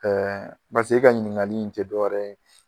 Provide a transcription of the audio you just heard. Ɛɛ e ka ɲininkali in tɛ dɔwɛrɛ ye